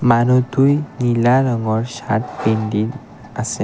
আৰু দুই নীলা ৰঙৰ চাৰ্ট পিন্ধি আছে।